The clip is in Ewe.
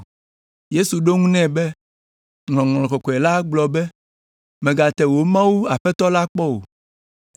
Yesu ɖo eŋu nɛ be, “Ŋɔŋlɔ Kɔkɔe la gblɔ be, ‘Mègate Mawu wò Aƒetɔ la kpɔ o.’ ”